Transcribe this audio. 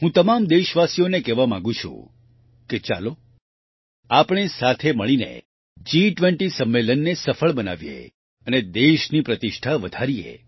હું તમામ દેશવાસીઓને કહેવા માંગુ છું કે ચાલો આપણે સાથે મળીને G20 સંમેલનને સફળ બનાવીએ અને દેશની પ્રતિષ્ઠા વધારીએ